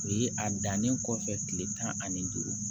O ye a dannen kɔfɛ kile tan ani duuru